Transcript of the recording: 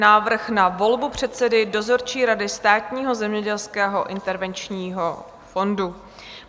Návrh na volbu předsedy dozorčí rady Státního zemědělského intervenčního fondu